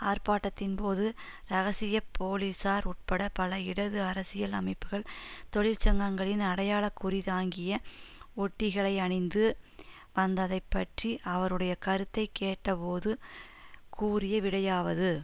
ஆர்ப்பாட்டத்தின்போது இரகசிய போலீசார் உட்பட பல இடது அரசியல் அமைப்புகள் தொழிற்சங்கங்களின் அடையாள குறி தாங்கிய ஒட்டிகளை அணிந்து வந்ததை பற்றி அவருடைய கருத்தை கேட்டபோது கூறிய விடையாவது